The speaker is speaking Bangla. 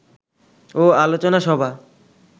ও আলোচনা সভা